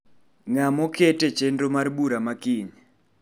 Ng'a ma oket echenro mar bura ma kiny.